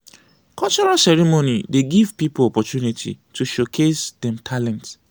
cultural ceremony dey give poeple opportunity to showcase dem talent.